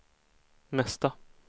mesta